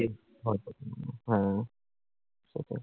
হ্যাঁ, সেটাই।